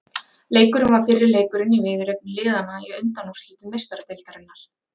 Leikurinn var fyrri leikurinn í viðureign liðanna í undanúrslitum Meistaradeildarinnar.